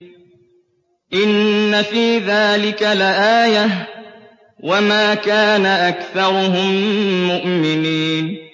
إِنَّ فِي ذَٰلِكَ لَآيَةً ۖ وَمَا كَانَ أَكْثَرُهُم مُّؤْمِنِينَ